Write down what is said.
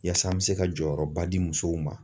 Yaasa an bɛ se ka jɔyɔrɔba di musow ma